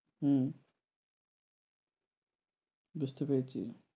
হুম বুঝতে পেরেছি।